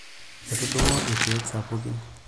Etudung'o ilkeek sapukin .